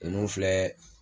ninnu filɛ.